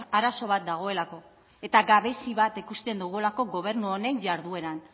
arazo bat dagoelako eta gabezi bat ikusten dugulako gobernu honen jardueran